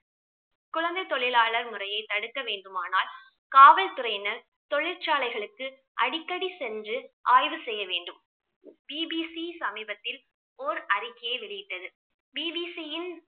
குழந்தை தொழிலாளர் முறையை தடுக்க வேண்டுமானால் காவல்துறையினர் தொழிற்சாலைகளுக்கு அடிக்கடி சென்று ஆய்வு செய்ய வேண்டும். பிபிசி சமீபத்தில் ஓர் அறிக்கையை வெளியிட்டது பிபிசியின்